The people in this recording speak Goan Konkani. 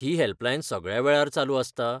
ही हॅल्पलायन सगळ्या वेळार चालू आसता?